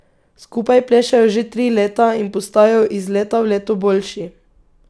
Skupaj plešejo že tri leta in postajajo iz leta v leto boljši.